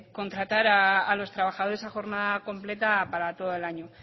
contratar a los trabajadores a jornada completa para todo el año